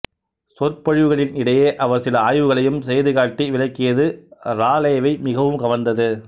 சொற்பொழிவுகளின் இடையே அவர் சில ஆய்வுகளையும் செய்து காட்டி விளக்கியது ராலேவை மிகவும் கவர்ந்தது